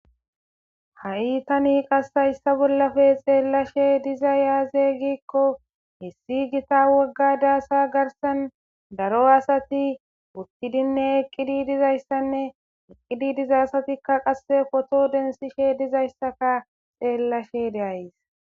Ha'i tani qas hayssa bollappe xeelashe dizay aaze giiko issi gita wogga daasa garssan daro asati uttidinne eqqidi dizayssanne eqqidi diza asati qase poto densishe dizayssaka xeelashe de'ays.